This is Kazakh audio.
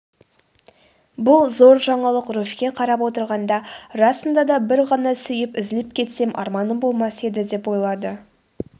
бұл зор жаңалық руфьке қарап отырғанда расында да бір ғана сүйіп үзіліп кетсем арманым болмас еді деп ойлады